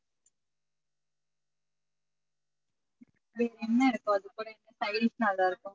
என்ன இருக்கோ